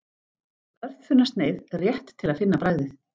Örþunna sneið, rétt til að finna bragðið